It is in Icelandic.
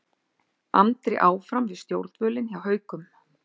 Andri áfram við stjórnvölinn hjá Haukum